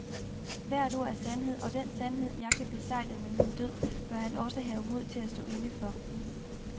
Hvert ord er sandhed og den sandhed, jeg kan besegle med min død, bør han også have mod til at stå inde for.